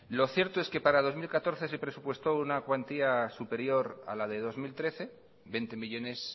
lo cierto es que para dos mil catorce se presupuestó una cuantía superior a la de dos mil trece veinte millónes